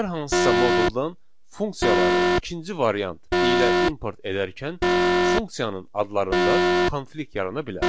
Hər hansısa moduldan funksiyaları ikinci variant ilə import edərkən funksiyanın adlarında konflikt yarana bilər.